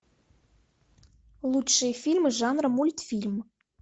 лучшие фильмы жанра мультфильм